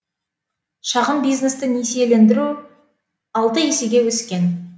шағын бизнесті несиелендіру алты есеге өскен